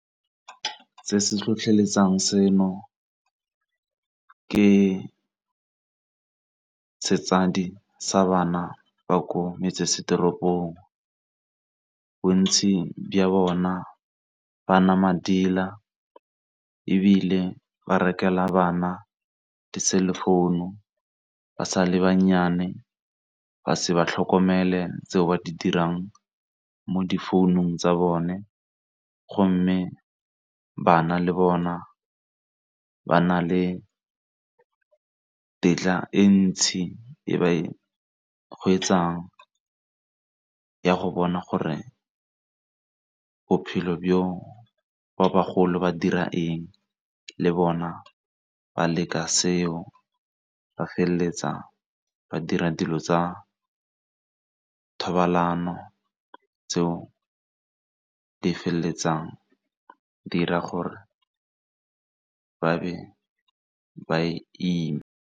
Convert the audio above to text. Se se tlhotlheletsang seno ke setsadi sa bana ba ko metsesetoropong, bontsi bja bona ba nwa madila ebile ba rekelwa bana di-cell phone ba sa le bannyane ba se ba tlhokomele tseo ba di dirang mo difounung tsa bone. Go mme bana le bona ba na le tetla e ntsi e ba e hwetšang ya go bona gore bophelo bjo ba bagolo ba dira eng le bona ba leka seo. Ba feleletsa ba dira dilo tsa thobalano tseo di feleletsang di 'ira gore ba be ba ime.